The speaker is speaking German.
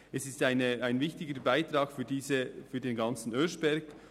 Es geht um einen wichtigen Beitrag für die ganze Bildungsstätte Oeschberg.